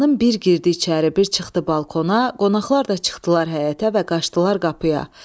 Xanım bir girdi içəri, bir çıxdı balkona, qonaqlar da çıxdılar həyətə və qaçdılar qapıya.